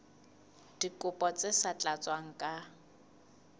dikopo tse sa tlatswang ka